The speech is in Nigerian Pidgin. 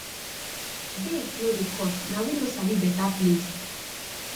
date no dey to cost na we no sabi beta place